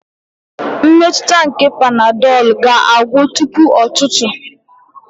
Mmetụta nke panadolu ga-agwụ tupu ụtụtụ.